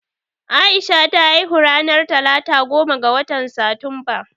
Aisha ta haihu ranar talata goma ga watan Satumba